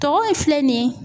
Tɔgɔ filɛ nin ye